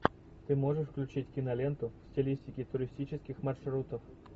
ты можешь включить киноленту в стилистике туристических маршрутов